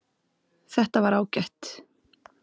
Þetta var ágætt